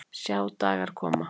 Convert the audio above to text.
Sjá dagar koma